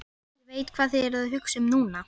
Ég veit, hvað þið eruð að hugsa um núna.